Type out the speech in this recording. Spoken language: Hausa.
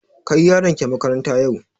Kai yaronki makaranta yau!